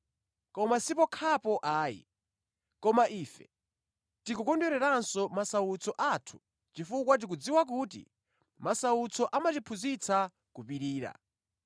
Koma si pokhapo ayi, koma ife tikukondweranso mʼmasautso athu chifukwa tikudziwa kuti masautso amatiphunzitsa kupirira.